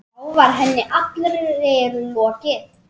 Þá var henni allri lokið.